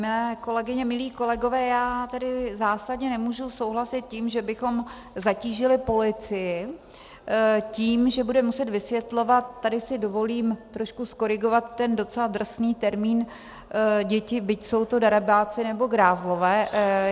Milé kolegyně, milí kolegové, já tedy zásadně nemůžu souhlasit tím, že bychom zatížili policii tím, že bude muset vysvětlovat - tady si dovolím trošku zkorigovat ten docela drsný termín děti, byť jsou to darebáci nebo grázlové.